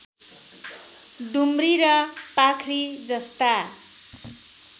डुम्री र पाख्री जस्ता